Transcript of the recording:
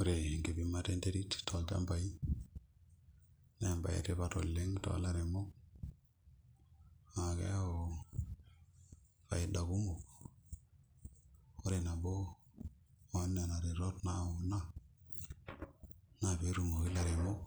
Ore enkipimata enterit tolchambai naa embaye etipat oleng' toolairemok naa keyau faida kumok ore nabo oonena tetot naayau ina naa pee etumoki ilaremok